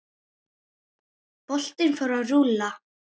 Boltinn fór að rúlla.